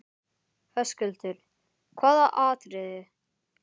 Höskuldur: Hvaða atriðið?